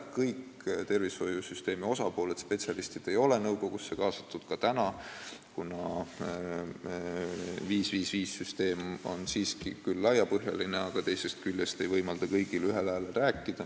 Kõik tervishoiusüsteemi osapooled, spetsialistid, ei ole nõukogusse kaasatud ka praegu, kuna süsteem 5 : 5 : 5 on küll laiapõhjaline, aga ei võimalda kõigil ühel häälel rääkida.